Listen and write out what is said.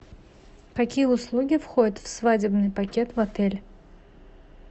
какие услуги входят в свадебный пакет в отеле